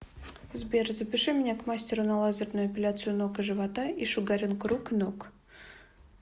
сбер запиши меня к мастеру на лазерную эпиляцию ног и живота и шугаринг рук и ног